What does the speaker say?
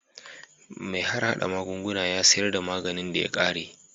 Mai harhada magunguna ya sayar da maganin da ya ƙare